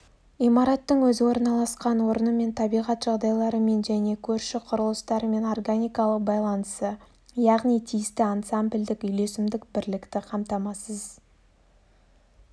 имараттың өзі орналасқан орнымен табиғат жағдайларымен және көрші құрылыстармен органикалық байланысы яғни тиісті ансамбльдік үйлесімдік бірлікті қамтамасыз